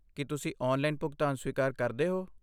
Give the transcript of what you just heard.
ਕੀ ਤੁਸੀਂ ਔਨਲਾਈਨ ਭੁਗਤਾਨ ਸਵੀਕਾਰ ਕਰਦੇ ਹੋ?